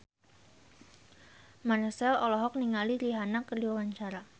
Marchell olohok ningali Rihanna keur diwawancara